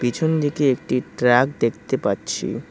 পিছন দিকে একটি ট্রাক দেখতে পাচ্ছি।